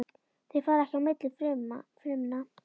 Þau fara ekki á milli frumna.